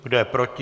Kdo je proti?